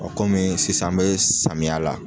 kɔmi sisan an mɛ samiya la.